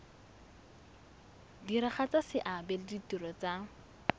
diragatsa seabe le ditiro tsa